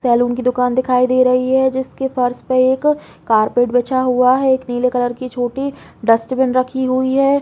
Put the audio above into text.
Salon की दुकान दिखाई दे रही हैं जिसके फर्श पे एक कार्पेट बिछा हुआ है। एक नीले कलर की छोटी डस्ट्बिन रखी हुई है।